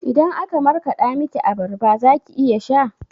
Idan aka markaɗa miki abarba zaki iya sha?